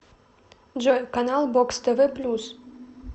джой канал бокс тв плюс